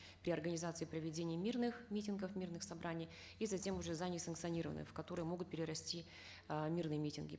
при организации проведения мирных митингов мирных собраний и затем уже за несанкционированные в которые могут перерасти э мирные митинги